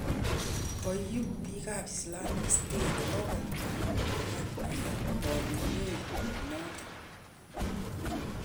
kayupik ap lsamic state kokomwa koyaan ponyinet naton